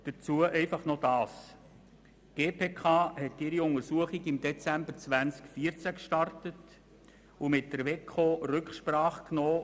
Dazu noch folgendes: Die GPK hat ihre Untersuchung im Dezember 2014 gestartet und mit der WEKO Rücksprache genommen.